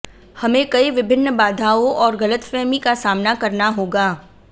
हमें कई विभिन्न बाधाओं और गलतफहमी का सामना करना होगा